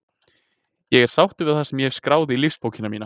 Ég er sáttur við það sem ég hef skráð í lífsbókina mína.